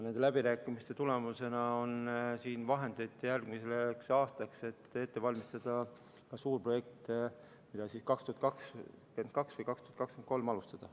Nende läbirääkimiste tulemusena on siin vahendeid järgmiseks aastaks, et ette valmistada ka suurprojekte, mida siis 2022 või 2023 saab alustada.